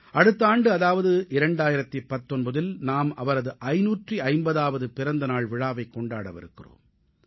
அடுத்த ஆண்டு அதாவது 2019இல் நாம் அவரது 550ஆவது பிறந்த நாள் விழாவை கொண்டாடவிருக்கிறோம்